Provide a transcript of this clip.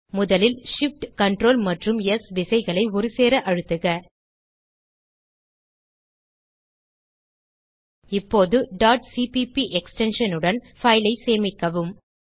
முதலில் Shift Ctrl மற்றும் S விசைகளை ஒருசேர அழுத்துக இப்போது டாட் சிபிபி எக்ஸ்டென்ஷன் உடன் பைல் ஐ சேமிக்கவும்